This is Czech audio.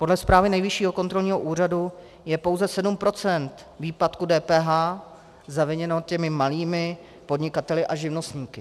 Podle zprávy Nejvyššího kontrolního úřadu je pouze 7 % výpadku DPH zaviněno těmi malými podnikateli a živnostníky.